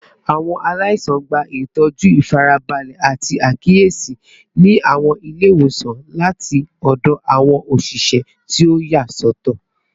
Awọn alaisan gba itọju ifarabalẹ ati akiyesi ni awọn ile-iwosan lati ọdọ awọn oṣiṣẹ ti o yasọtọ